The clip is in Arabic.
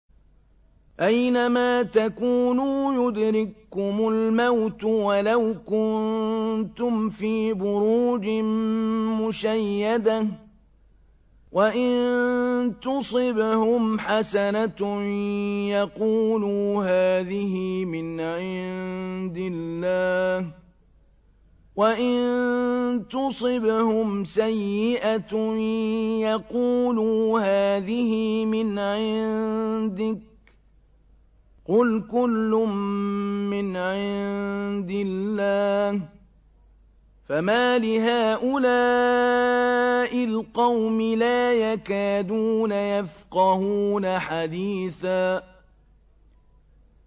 أَيْنَمَا تَكُونُوا يُدْرِككُّمُ الْمَوْتُ وَلَوْ كُنتُمْ فِي بُرُوجٍ مُّشَيَّدَةٍ ۗ وَإِن تُصِبْهُمْ حَسَنَةٌ يَقُولُوا هَٰذِهِ مِنْ عِندِ اللَّهِ ۖ وَإِن تُصِبْهُمْ سَيِّئَةٌ يَقُولُوا هَٰذِهِ مِنْ عِندِكَ ۚ قُلْ كُلٌّ مِّنْ عِندِ اللَّهِ ۖ فَمَالِ هَٰؤُلَاءِ الْقَوْمِ لَا يَكَادُونَ يَفْقَهُونَ حَدِيثًا